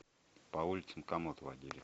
по улицам комод водили